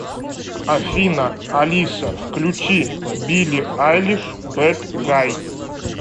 афина алиса включи билли айлиш бэд гай